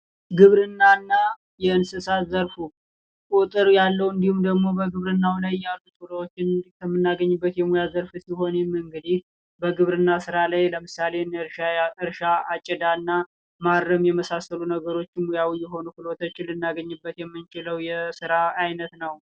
ግብርናና የእንስሳት ዘርፉ ቁጥር ያለው እንዲሁም ደግሞ በግብርናው ላይ ያሉ ክህሎቶችን የምናገኝበት ሲሆን ይህም እንግዲህ በግብርና ስራ ላይ ያሉ እንደ እርሻ አጨዳ እና ማረም የመሳሰሉ ነገሮች የሆኑ ክህሎቶችን ሙያዊ ክህሎቶችን የምናገኝበት የስራ አይነት ነው።